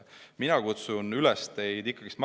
Mina kutsun teid üles.